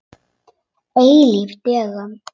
Eilíf dögun.